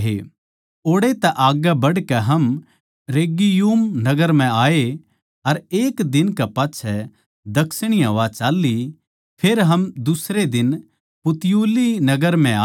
ओड़ै तै आग्गै बढ़कै हम रेगियुम नगर म्ह आये अर एक दिन कै पाच्छै दक्षिणी हवा चाल्ली फेर हम दुसरे दिन पुतियुली नगर म्ह आये